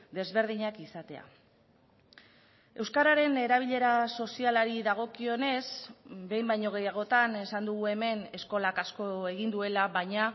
desberdinak izatea euskararen erabilera sozialari dagokionez behin baino gehiagotan esan dugu hemen eskolak asko egin duela baina